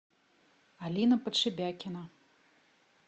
алина подшибякина